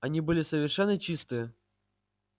они были совершенно чистые